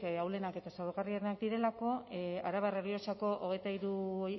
ahulenak eta zaurgarrienak direlako arabar errioxako hogeita hiru